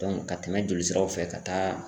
ka tɛmɛ joli siraw fɛ ka taa